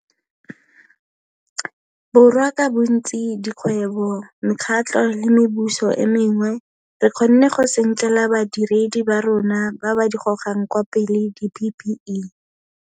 Borwa ka bontsi, dikgwebo, mekgatlho le mebuso e mengwe, re kgonne go senkela badiredi ba rona ba ba di gogang kwa pele di-PPE.